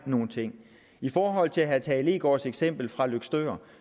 nogle ting i forhold til herre tage leegaards eksempel fra løgstør